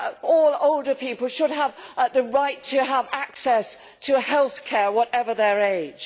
All older people should have the right to have access to health care, whatever their age.